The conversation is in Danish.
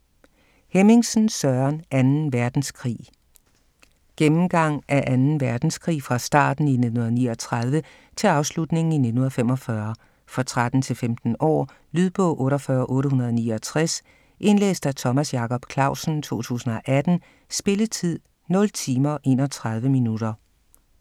Hemmingsen, Søren: 2. verdenskrig Gennemgang af 2. verdenskrig fra starten i 1939 til afslutningen i 1945. For 13-15 år. Lydbog 48869 Indlæst af Thomas Jacob Clausen, 2018. Spilletid: 0 timer, 31 minutter.